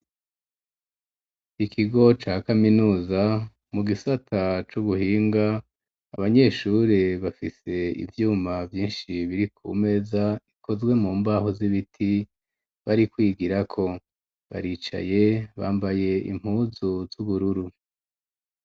Ikigo ca kaminuza mu gisata c'ubuhinga, abanyeshuri bafise ivyuma vyinshi, biri ku meza ikozwe mu mbaho z'ibiti, bari kwigirako, baricaye bambaye impuzu z'ubururu.